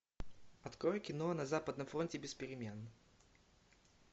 открой кино на западном фронте без перемен